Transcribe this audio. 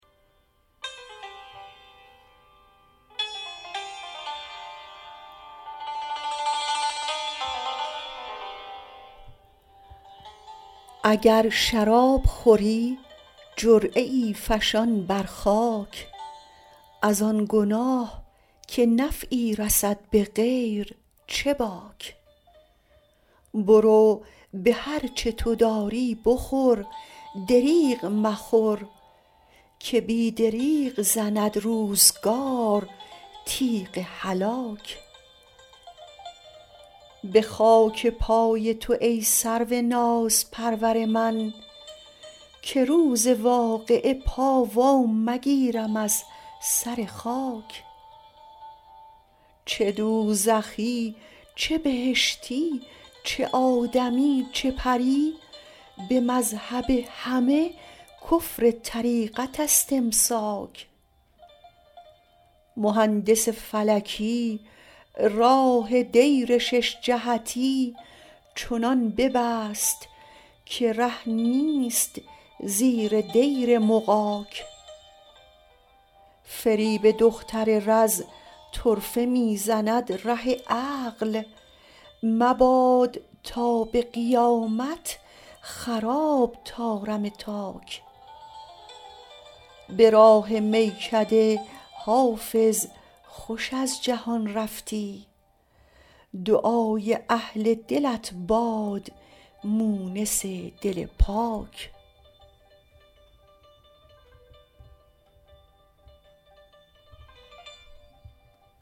اگر شراب خوری جرعه ای فشان بر خاک از آن گناه که نفعی رسد به غیر چه باک برو به هر چه تو داری بخور دریغ مخور که بی دریغ زند روزگار تیغ هلاک به خاک پای تو ای سرو نازپرور من که روز واقعه پا وا مگیرم از سر خاک چه دوزخی چه بهشتی چه آدمی چه پری به مذهب همه کفر طریقت است امساک مهندس فلکی راه دیر شش جهتی چنان ببست که ره نیست زیر دیر مغاک فریب دختر رز طرفه می زند ره عقل مباد تا به قیامت خراب طارم تاک به راه میکده حافظ خوش از جهان رفتی دعای اهل دلت باد مونس دل پاک